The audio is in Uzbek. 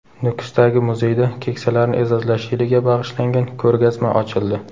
Nukusdagi muzeyda Keksalarni e’zozlash yiliga bag‘ishlangan ko‘rgazma ochildi.